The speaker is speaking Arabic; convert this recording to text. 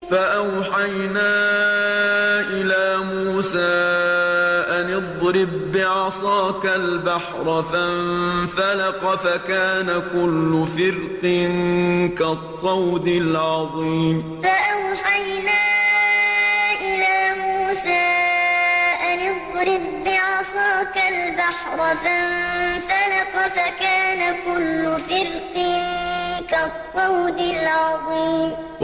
فَأَوْحَيْنَا إِلَىٰ مُوسَىٰ أَنِ اضْرِب بِّعَصَاكَ الْبَحْرَ ۖ فَانفَلَقَ فَكَانَ كُلُّ فِرْقٍ كَالطَّوْدِ الْعَظِيمِ فَأَوْحَيْنَا إِلَىٰ مُوسَىٰ أَنِ اضْرِب بِّعَصَاكَ الْبَحْرَ ۖ فَانفَلَقَ فَكَانَ كُلُّ فِرْقٍ كَالطَّوْدِ الْعَظِيمِ